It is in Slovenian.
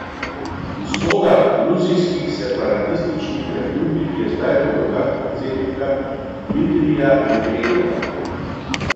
Usoda gruzijskih separatističnih republik je zdaj v rokah predsednika Dmitrija Medvedjeva.